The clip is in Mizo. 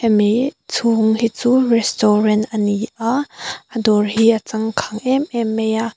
chhung hi chu restaurant a ni a a dawr hi a changkang em em mai a.